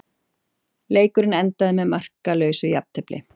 Leikurinn endaði með markalausu jafntefli